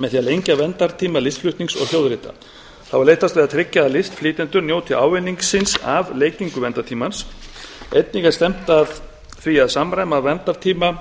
með því að lengja verndartíma listflutnings og hljóðrita þá er leitast við að tryggja að listflytjendur njóti ávinningsins af lengingu verndartímans einnig er stefnt að því að tryggja samræma verndartíma